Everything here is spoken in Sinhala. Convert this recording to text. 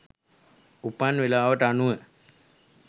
උපන් වෙලාවට අනුව